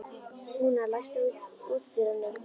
Húna, læstu útidyrunum.